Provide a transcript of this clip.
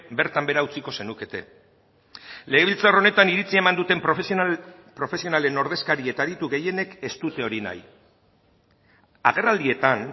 bertan behera utziko zenukete legebiltzar honetan iritzia eman duten profesionalen ordezkari eta aditu gehienek ez dute hori nahi agerraldietan